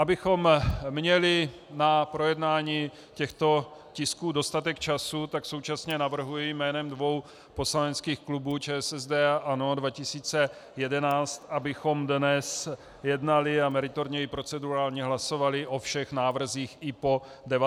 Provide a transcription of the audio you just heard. Abychom měli na projednání těchto tisků dostatek času, tak současně navrhuji jménem dvou poslaneckých klubů, ČSSD a ANO 2011, abychom dnes jednali a meritorně i procedurálně hlasovali o všech návrzích i po 19. i po 21. hodině.